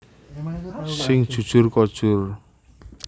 Sing jujur kojur